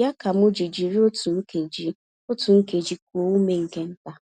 ya kam ji jiri otú nkeji otú nkeji kuo ume nke ntà